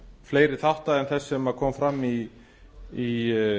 fleiri þátta en þess sem kom fram í